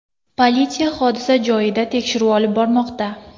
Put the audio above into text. Politsiya hodisa joyida tekshiruv olib bormoqda.